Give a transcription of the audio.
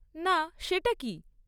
না, সেটা কী?